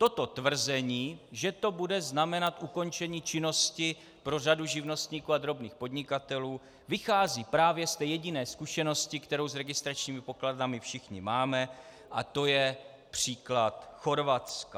Toto tvrzení, že to bude znamenat ukončení činnosti pro řadu živnostníků a drobných podnikatelů, vychází právě z té jediné zkušenosti, kterou s registračními pokladnami všichni máme, a to je příklad Chorvatska.